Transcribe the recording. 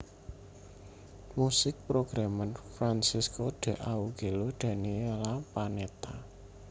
Musik programmer Francesco D Augello Daniela Panetta